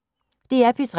DR P3